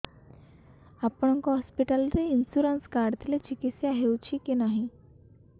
ଆପଣଙ୍କ ହସ୍ପିଟାଲ ରେ insurance card ଥିଲେ ଚିକିତ୍ସା ହେଉଛି କି ନାଇଁ